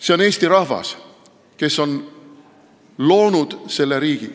See on Eesti rahvas, kes on loonud selle riigi.